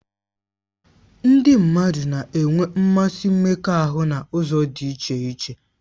Ndị mmadụ na-enwe mmasị mmekọahụ n'ụzọ dị iche